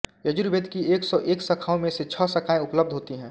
यजुर्वेद की एक सौ एक शाखाओं में से छः शाखाएँ उपलध होती हैं